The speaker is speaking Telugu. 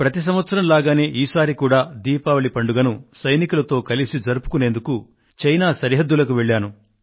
ప్రతి సంవత్సరం మాదిరిగానే ఈ సారి కూడా దీపావళి పండుగను సైనికులతో కలిసి జరుపుకొనేందుకు చైనా సరిహద్దులకు వెళ్లాను